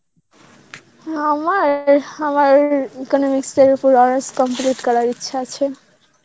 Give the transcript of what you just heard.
আমার~ আমার economics ওপর honours complete করার ইচ্ছা আছে